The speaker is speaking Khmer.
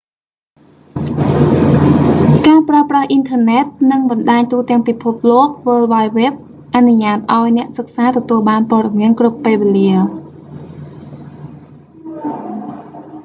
ការប្រើប្រាស់អ៊ីនធឺណិត និងបណ្ដាញទូទាំងពិភពលោក world wide web អនុញ្ញាតឱ្យ អ្នកសិក្សាទទួលបានព័ត៌មានគ្រប់ពេលវេលា